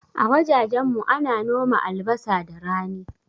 A wajajen mu ana noma albasa da rani